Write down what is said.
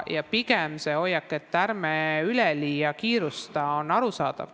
See hoiak, et ärme üleliia kiirustame, on arusaadav.